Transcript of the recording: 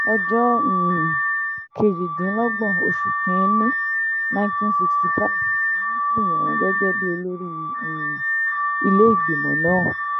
ọjọ́ um kejìdínlọ́gbọ̀n oṣù kìn-ín-ní nineteen sixty five ni wọ́n sì yàn án gẹ́gẹ́ bíi olórí um ilé-ìgbìmọ̀ náà